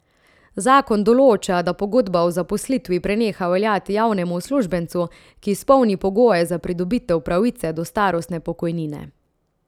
Zakon določa, da pogodba o zaposlitvi preneha veljati javnemu uslužbencu, ki izpolni pogoje za pridobitev pravice do starostne pokojnine.